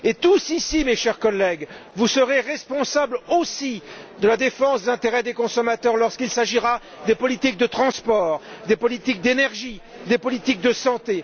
Et tous ici, mes chers collègues, vous serez responsables aussi de la défense des intérêts des consommateurs quand il s'agira des politiques de transport, des politiques de l'énergie, des politiques de santé.